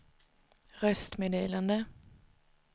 röstmeddelande